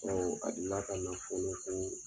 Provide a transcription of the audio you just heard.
a deli la ka na fɔlɔ ko